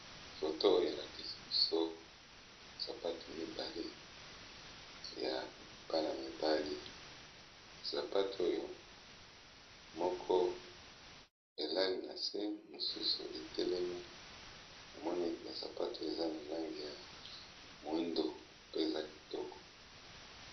Photo oyo, e lakisi biso sapatu mibale ya bana mibali, sapatu oyo moko elali na se, mosusu e telemi, na moni bavsapatu eza na langi ya moyindo pe eza kitoko .